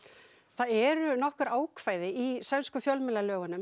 það eru ákvæði í sænskum fjölmiðlalögum